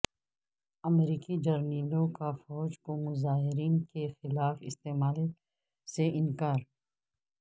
امریکی جرنیلوں کا فوج کو مظاہرین کیخلاف استعمال سے انکار